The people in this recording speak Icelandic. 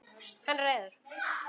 Hann er reiður.